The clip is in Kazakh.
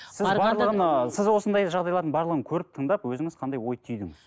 сіз барлығын ы сіз осындай жағдайлардың барлығын көріп тыңдап өзіңіз қандай ой түйдіңіз